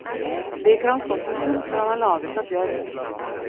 Slik har han stått en stund, for han er laget av bjørk.